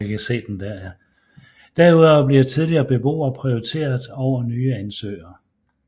Derudover bliver tidligere beboere prioriteret over nye ansøgere